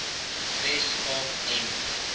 wes kaap en